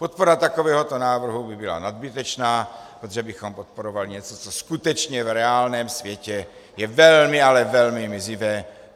Podpora takovéhoto návrhu by byla nadbytečná, protože bychom podporovali něco, co skutečně v reálném světě je velmi, ale velmi mizivé.